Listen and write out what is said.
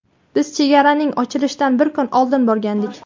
Biz chegaraning ochilishidan bir kun oldin borgandik.